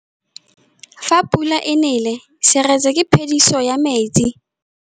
Fa pula e nelê serêtsê ke phêdisô ya metsi.